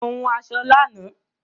Mo hun aṣọ lánàá